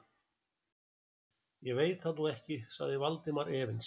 Ég veit það nú ekki sagði Valdimar efins.